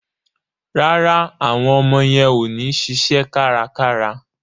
Rárá, àwọn ọmọ yẹn ò ní ṣiṣẹ́ kárakára.